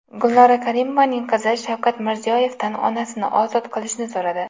Gulnora Karimovaning qizi Shavkat Mirziyoyevdan onasini ozod qilishni so‘radi.